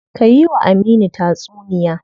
Ka yi wa Aminu tatsuniya.